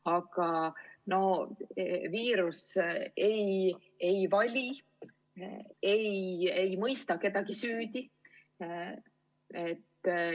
Aga viirus ei vali, ei mõista kedagi süüdi.